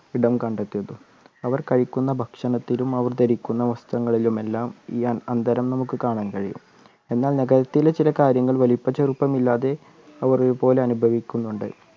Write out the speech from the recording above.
ഇടം കണ്ടെത്തുന്നു അവർ കഴിക്കുന്ന ഭക്ഷണത്തിലും അവർ ധരിക്കുന്ന വസ്ത്രങ്ങളിലുമെല്ലാം ഈ അ അന്തരം നമുക്ക് കാണാൻ കഴിയും എന്നാൽ നഗരത്തിലെ ചില കാര്യങ്ങൾ വലുപ്പ ചെറുപ്പം ഇല്ലാതെ അവർ ഒരുപോലെ അനുഭവിക്കുന്നുണ്ട്